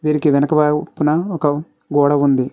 వీరికి వెనక వైపున ఒక గోడ ఉంది.